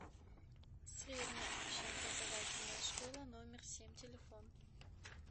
средняя общеобразовательная школа номер семь телефон